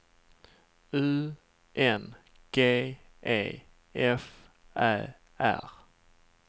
U N G E F Ä R